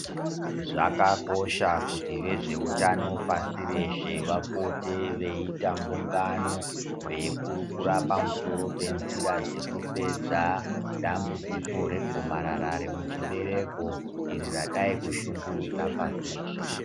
Zvakakosha kuti vezveutano pasi reshe vapote veiita mbungano veikurukura pamusoro penzira dzekupedza dambudziko regomarar rwmuchiberekoiri radai kushungurudza pashi reshe.